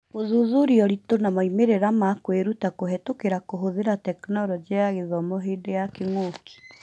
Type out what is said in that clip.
Gũthuthuria iritũ wa moimĩrĩra ma kũĩruta kũhetũkĩra kũhũthĩra Tekinoronjĩ ya Gĩthomo hĩndĩ ya kĩng'ũki